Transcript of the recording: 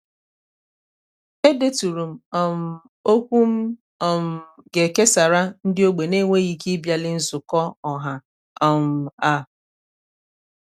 e deturu m um okwu m um ga e kesara nde ogbe n'enweghị ike ị bịali nzukọ ọha um a.